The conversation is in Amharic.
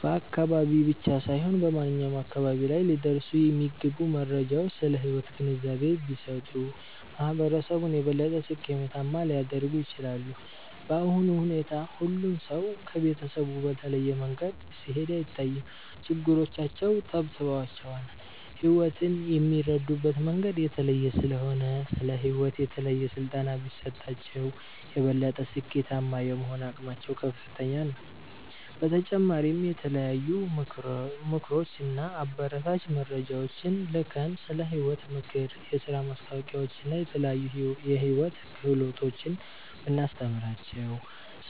በአካባቢ ብቻ ሳይሆን በማንኛውም አካባቢ ላይ ሊደርሱ የሚገቡ መረጃዎች ስለ ሕይወት ግንዛቤ ቢሰጡ፣ ማህበረሰቡን የበለጠ ስኬታማ ሊያደርጉት ይችላሉ። በአሁኑ ሁኔታ ሁሉም ሰው ከቤተሰቡ በተለየ መንገድ ሲሄድ አይታይም፤ ችግሮቻቸው ተብትበዋቸዋል። ሕይወትን የሚረዱበት መንገድ የተለየ ስለሆነ፣ ስለ ሕይወት የተለየ ስልጠና ቢሰጣቸው፣ የበለጠ ስኬታማ የመሆን አቅማቸው ከፍተኛ ነው። በተጨማሪም የተለያዩ ምክሮች እና አበረታች መረጃዎችን ልከን፣ ስለ ሕይወት ምክር፣ የሥራ ማስታወቂያዎችን እና የተለያዩ የሕይወት ክህሎቶችን ብናስተምራቸው፣